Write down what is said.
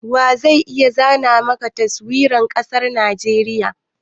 Wa zai iya zana mana Taswirar ƙasar Najeriya?